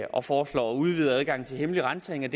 og foreslår udvidet adgang til hemmelig ransagninger